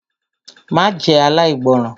Má jẹ́ aláìgbọràn!